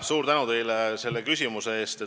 Suur tänu teile selle küsimuse eest!